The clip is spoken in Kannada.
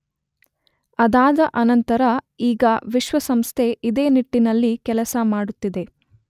ಅದಾದ ಅನಂತರ ಈಗ ವಿಶ್ವಸಂಸ್ಥೆ ಇದೇ ನಿಟ್ಟಿನಲ್ಲಿ ಕೆಲಸ ಮಾಡುತ್ತಿದೆ.